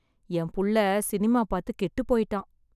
என் புள்ள சினிமா பாத்து கெட்டுப் போயிட்டான்.